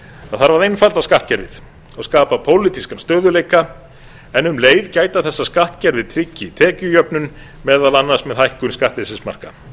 það þarf að einfalda skattkerfið og skapa pólitíska stöðugleika en um leið gæta þess að skattkerfið tryggi tekjujöfnun meðal annars með hækkun skattleysismarka